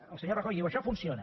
el senyor rajoy diu això funciona